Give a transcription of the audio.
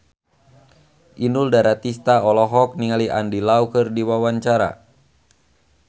Inul Daratista olohok ningali Andy Lau keur diwawancara